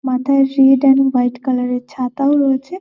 মাথায় সিঁড়িটা একদম হোয়াইট কালার -এর ছাতা ও রয়েছে।